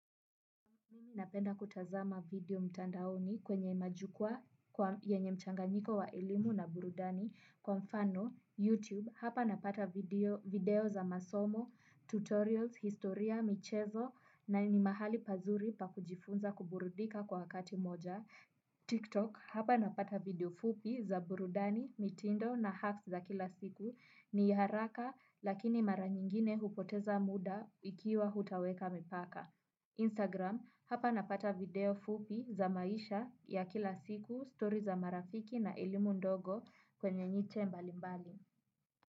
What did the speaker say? Napenda kutazama video mtandaoni kwenye majukwa kwa yenye mchanganyiko wa elimu na burudani kwa mfano YouTube hapa napata video za masomo, tutorials, historia, michezo na ni mahali pazuri pa kujifunza kuburudika kwa wakati moja. TikTok hapa napata video fupi za burudani, mitindo na hacks za kila siku ni haraka lakini mara nyingine hupoteza muda ikiwa hutaweka mipaka. Instagram, hapa napata video fupi za maisha ya kila siku, story za marafiki na elimu ndogo kwenye nyiche mbali mbali.